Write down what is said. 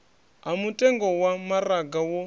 ha mutengo wa maraga wo